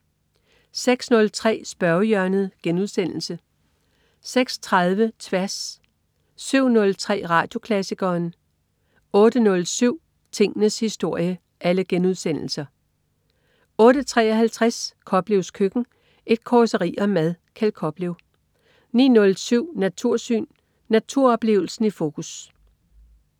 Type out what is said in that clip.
06.03 Spørgehjørnet* 06.30 Tværs* 07.03 Radioklassikeren* 08.07 Tingenes historie* 08.53 Koplevs Køkken. Et causeri om mad. Kjeld Koplev 09.07 Natursyn. Naturoplevelsen i fokus